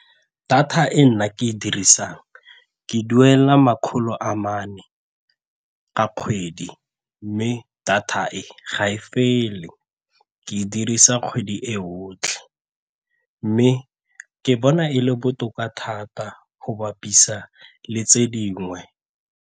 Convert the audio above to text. Data e nna ke e e dirisang, ke duela makgolo a mane ka kgwedi mme data e ga e fele ke e dirisa kgwedi e otlhe mme ke bona e le botoka thata go bapisa le tse dingwe.